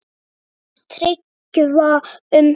Hvað fannst Tryggva um það?